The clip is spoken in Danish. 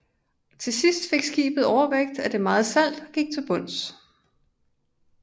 Til sidst fik skibet overvægt af det meget salt og gik til bunds